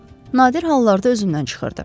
Nadir hallarda özündən çıxırdı.